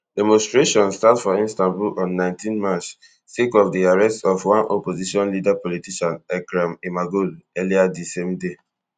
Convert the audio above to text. demonstrations start for istanbul on nineteen march sake of di arrest of one opposition leader politician ekrem imamoglu earlier di same day